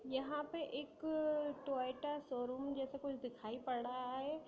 यहा पे एक टोयोटा शोरूम जैसा कुछ दिखाई पड़ रहा है।